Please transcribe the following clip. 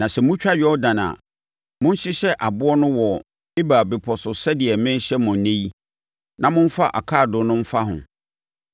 Na sɛ motwa Yordan a, monhyehyɛ aboɔ no wɔ Ebal bepɔ so sɛdeɛ merehyɛ mo ɛnnɛ yi na momfa akaadoo no mfa ho.